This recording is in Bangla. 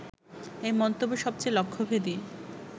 এই মন্তব্য সবচেয়ে লক্ষ্যভেদী